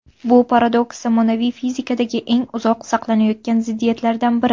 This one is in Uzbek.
Bu paradoks zamonaviy fizikadagi eng uzoq saqlanayotgan ziddiyatlardan biri.